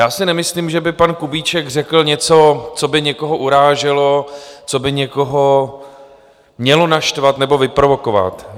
Já si nemyslím, že by pan Kubíček řekl něco, co by někoho uráželo, co by někoho mělo naštvat nebo vyprovokovat.